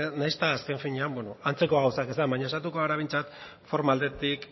nahiz eta azken finean antzeko gauza ez den baina saiatuko gara behintzat forma aldetik